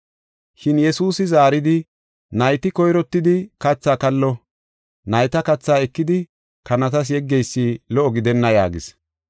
Shin Yesuusi zaaridi, “Nayti koyrottidi kathaa kallo; nayta kathaa ekidi kanatas yeggeysi lo77o gidenna” yaagis.